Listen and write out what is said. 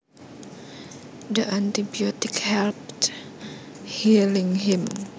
The antibiotic helped healing him